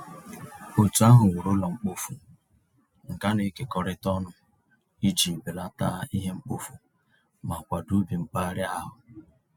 Otu ahụ wuru ụlọ mkpofu nke a na-ekekọrịta ọnụ iji belata ihe mkpofu ma kwado ubi mpaghara ahụ.